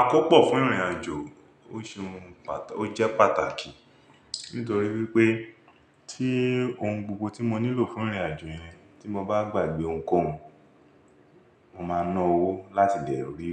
Àkópọ̀ fún ìrìnàjò ó ṣeun, ó jẹ́ pàtàkì nítorí wípé tí ohun gbogbo tí mo nílò fún ìrìnàjò yẹn tí mo bá gbàgbé ohunkóhun, mo máa ná owó láti lè rí